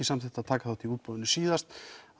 samþykktu að taka þátt í útboðinu síðast